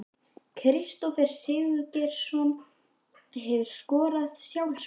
Kristófer Sigurgeirsson Hefurðu skorað sjálfsmark?